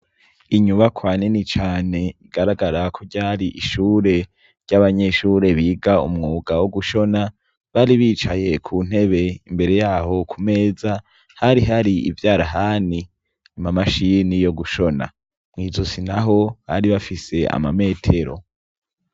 Inyubakwa nini cane rigaragara ko ryari ishure ry'abanyeshure biga umwuga wo gushona bari bicaye ku ntebe imbere yaho ku meza hari hari ivyarahani amamashini yo gushona, mw'izosi naho bari bafise amametero.